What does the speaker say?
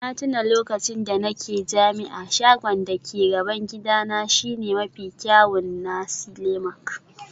Na tuna lokacin da nake jami'a, shagon da ke gaban gidana shine mafi kyawun nasi lemak